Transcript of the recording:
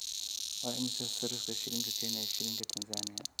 Waa imisa sarifka shilinka Kenya iyo shilinka Tanzania?